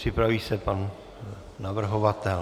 Připraví se pan navrhovatel.